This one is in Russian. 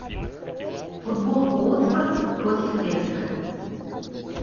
футбол уотфорд против лестера